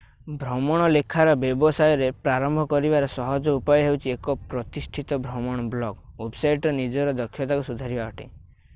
ଭ୍ରମଣ ଲେଖାର ବ୍ୟବସାୟରେ ପ୍ରାରମ୍ଭ କରିବାର ସହଜ ଉପାୟ ହେଉଛି ଏକ ପ୍ରତିଷ୍ଠିତ ଭ୍ରମଣ ବ୍ଲଗ୍ ୱେବସାଇଟରେ ନିଜର ଦକ୍ଷତାକୁ ସୁଧାରିବା ଅଟେ